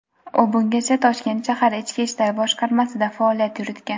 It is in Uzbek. U bungacha Toshkent shahar ichki ishlar boshqarmasida faoliyat yuritgan.